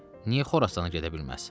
Niyə Xorasana gedə bilməz?